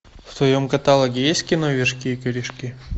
в твоем каталоге есть кино вершки и корешки